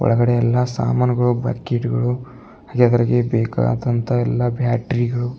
ಒಳಗಡೆ ಎಲ್ಲ ಸಾಮಾನುಗಳು ಬಕ್ಕಿಟುಗಳು ಬೇಕಾದಂತ ಎಲ್ಲಾ ಬ್ಯಾಟ್ರೀ ಗಳು.